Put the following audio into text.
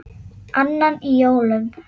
Annan í jólum.